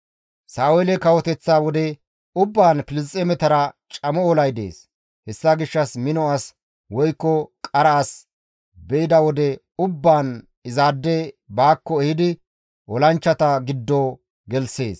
Sa7oole kawoteththa wode ubbaan Filisxeemetara camo olay dees; hessa gishshas mino as woykko qara as be7ida wode ubbaan izaade baakko ehidi olanchchata giddo gelththees.